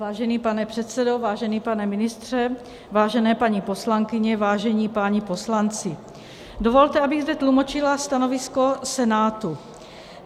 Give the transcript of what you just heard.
Vážený pane předsedo, vážený pane ministře, vážené paní poslankyně, vážení páni poslanci, dovolte, abych zde tlumočila stanovisko Senátu.